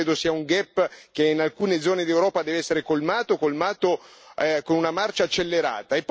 Questo credo sia un gap che in alcune zone d'Europa deve essere colmato colmato con una marcia accelerata.